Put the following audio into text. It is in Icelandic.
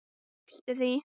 lýstu því?